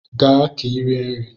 Gaa ka ị rie nri!